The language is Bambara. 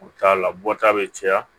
U t'a la bɔta bɛ caya